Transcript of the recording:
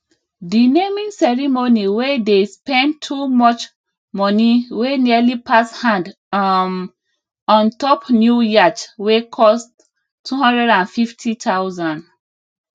the naming ceremony wey dey spend too much money wey nearly pass hand um on top new yacht wey cost 250000